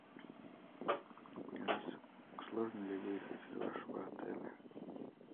алиса сложно ли выехать из вашего отеля